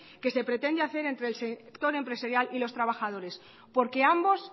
que se pretende hacer entre el sector empresarial y los trabajadores porque ambos